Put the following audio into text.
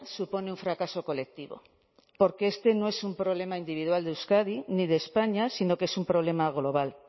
supone un fracaso colectivo porque esto no es un problema individual de euskadi ni de españa sino que es un problema global